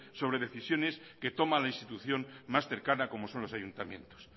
sobre decisiones que toma la institución más cercana como son los ayuntamientos